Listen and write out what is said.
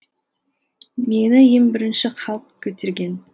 мені ең бірінші халық көтерген